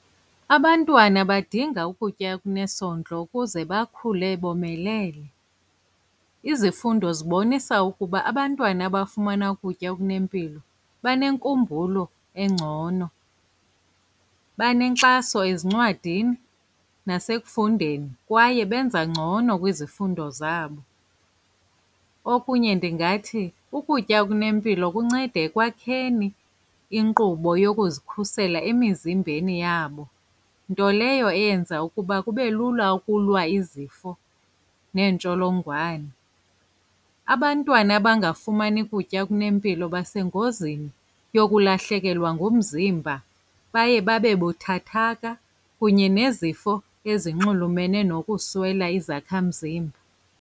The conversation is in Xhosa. Abantwana badinga ukutya okunesondlo ukuze bakhule bomelele. Izifundo zibonisa ukuba abantwana abafumana ukutya okunempilo banenkumbulo engcono, banenkxaso ezincwadini nasekufundeni, kwaye benza ngcono kwizifundo zabo. Okunye ndingathi ukutya okunempilo kunceda ekwakheni inkqubo yokuzikhusela emizimbeni yabo, nto leyo eyenza ukuba kube lula ukulwa izifo neentsholongwane. Abantwana abangafumani kutya okunempilo basengozini yokulahlekelwa ngumzimba, baye babe buthathaka, kunye nezifo ezinxulumene nokuswela izakhamzimba.